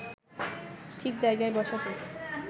ঠিক জায়গায় বসাতে